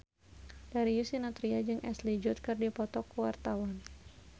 Darius Sinathrya jeung Ashley Judd keur dipoto ku wartawan